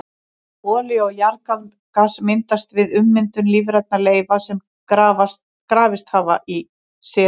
Olía og jarðgas myndast við ummyndun lífrænna leifa sem grafist hafa í seti.